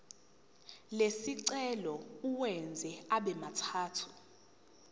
lesicelo uwenze abemathathu